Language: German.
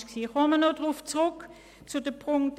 Ich komme noch auf Ziffer 1 zurück.